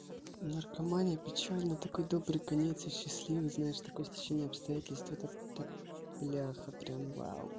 наркомания печально такой добрый конец и счастливый знаешь такое стечение обстоятельств это так бляха прям вау